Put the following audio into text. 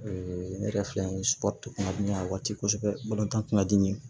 ne yɛrɛ filɛ nin ye kun ka di n ye a waati kosɛbɛ kun ka di n ye